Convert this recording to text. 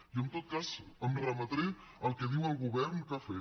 jo en tot cas em remetré al que diu el govern que ha fet